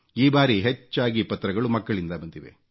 ಈ ಬಾರಿ ಹೆಚ್ಚಾಗಿ ಪತ್ರಗಳು ಮಕ್ಕಳಿಂದ ಬಂದಿವೆ